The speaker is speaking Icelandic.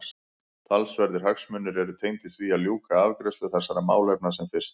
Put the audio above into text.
Talsverðir hagsmunir eru tengdir því að ljúka afgreiðslu þessara málefna sem fyrst.